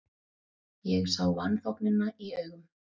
Ég sá vanþóknunina í augum